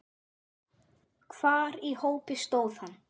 Hvar í hópi stóð hann?